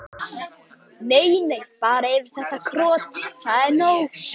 Nei, nei, bara yfir þetta krot, það er nóg.